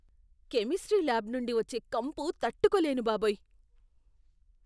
Chemistry lab నుండి వచ్చే కంపు తట్టుకోలేను బాబోయ్!